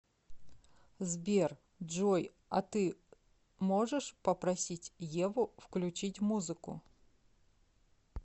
сбер джой а ты можешь попросить еву включить музыку